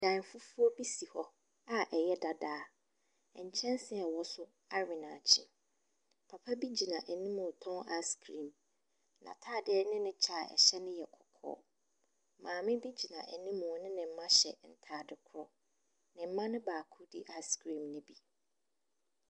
Dan fufuo bi si hɔ a ɛyɛ dada. Nkyɛnse a ɛwɔ so awe naakye. Papa bi gyina anim mu ɛretɔn ice cream. N'ataade ne ne kyɛ a ɛhyɛ no yɛ kɔkɔɔ. Maame bi gyina animu ne ne mma hyɛ ataade korɔ. Ne mma no baako di ice cream no bi.